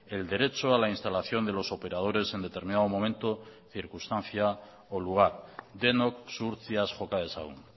el derecho a la instalación de los operadores en determinado momento circunstancia o lugar denok zuhurtziaz joka dezagun